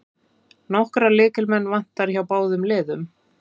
Nokkra lykilmenn vantar hjá báðum liðum